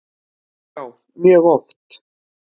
Já mjög oft.